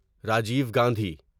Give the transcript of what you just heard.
Rajiv Gandhi